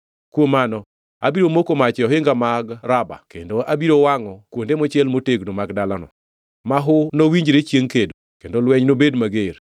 kuom mano abiro moko mach e ohinga mag Raba kendo abiro wangʼo kuonde mochiel motegno mag dalano. Mahu nowinjre chiengʼ kedo kendo lweny nobed mager.